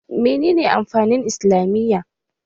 Menene amfanin islamiyya?